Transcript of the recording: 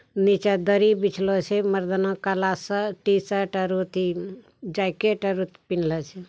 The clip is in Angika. नीचे दरी बिचलो छे मर्दाना काला शर्ट टी-शर्ट और ओथी जैकेट और पिनहले छे |